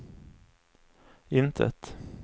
intet